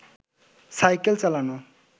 cycle চালানো